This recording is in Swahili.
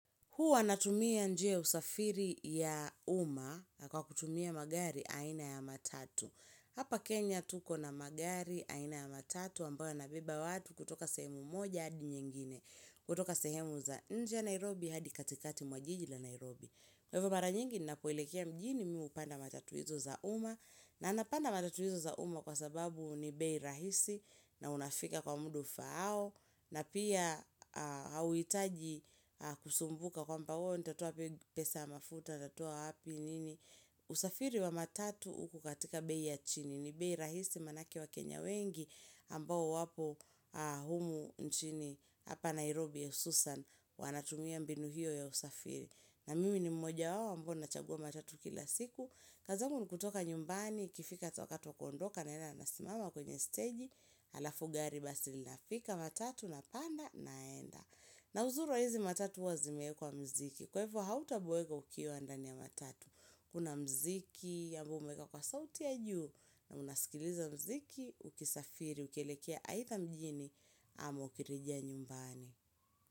Huwa natumia njia ya usafiri ya uma kwa kutumia magari aina ya matatu. Hapa Kenya tuko na magari aina ya matatu ambayo yanabeba watu kutoka sehemu moja adi nyingine. Kutoka sehemu za nje ya Nairobi hadi katikati mwa jiji la Nairobi. Kwa hivyo maranyingi ninapoelekia mjini mim hupanda matatu hizo za uma. Na napanda matatu hizo za uma kwa sababu ni bei rahisi na unafika kwa muda ufao. Na pia hawitaji kusumbuka kwamba oh, nitatoa wapi pesa ya mafuta, nitatoa wapi nini usafiri wa matatu ukokatika bei ya chini, ni bei rahisi manake waKenya wengi ambao wapo humu nchini, hapa Nairobi ususan, wanatumia mbinu hiyo ya usafiri na mimi ni mmoja wao, ambao na chagua matatu kila siku kazi yangu nikutoka nyumbani, ikifika wakati wa kuondoka, naenda nasimama kwenye steji Halafu gari basi linafika matatu na panda naenda na uzuri wa hizi matatu huwa zimeekwa mziki Kwa hivo hautaboeka ukiwa ndani ya matatu Kuna mziki, ambao umeeka kwa sauti ya juu na unasikiliza mziki, ukisafiri, ukielekea aidha mjini ama ukirejea nyumbani.